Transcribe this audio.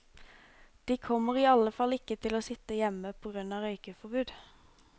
De kommer i alle fall ikke til å sitte hjemme på grunn av røykeforbud.